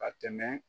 Ka tɛmɛ